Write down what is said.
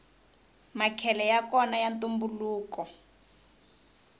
makhele yakona ya ntumbuluko